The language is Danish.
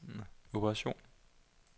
operation